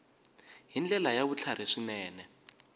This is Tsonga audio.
hi ndlela ya vutlhari swinene